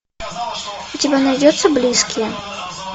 у тебя найдется близкие